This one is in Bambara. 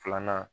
Filanan